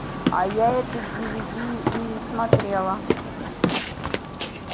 а я этот дивиди и не смотрела